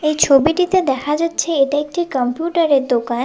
এই ছবিটিতে দেখা যাচ্ছে এটা একটি কম্পিউটারের দোকান।